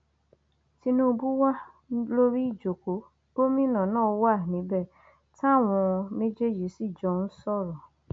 tinúbú wa lórí ìjókòó gómìnà náà wà níbẹ táwọn méjèèjì sì jọ ń sọrọ